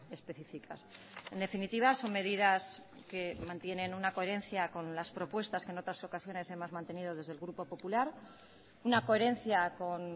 específicas en definitiva son medidas que mantienen una coherencia con las propuestas que en otras ocasiones hemos mantenido desde el grupo popular una coherencia con